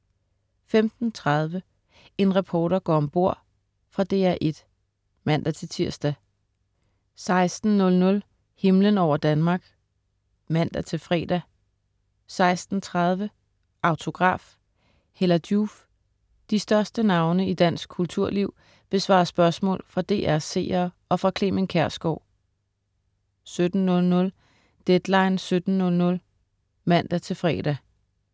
15.30 En reporter går om bord. Fra DR1 (man-tirs) 16.00 Himlen over Danmark (man-fre) 16.30 Autograf. Hella Joof. De største navne i dansk kulturliv besvarer spørgsmål fra DR's seere og fra Clement Kjersgaard 17.00 Deadline 17:00 (man-fre)